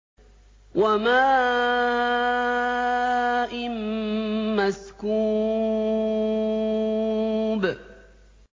وَمَاءٍ مَّسْكُوبٍ